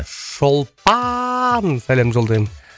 шолпан сәлем жолдаймын